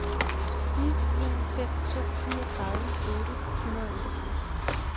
ni en fem to niogtredive otte hundrede og otteogtres